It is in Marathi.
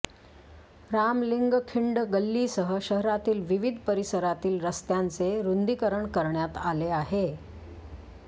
रामलिंगखिंड गल्लीसह शहरातील विविध परिसरातील रस्त्यांचे रुंदीकरण करण्यात आले आहे